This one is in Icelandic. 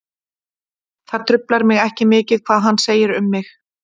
Það truflar mig ekki mikið hvað hann segir um mig.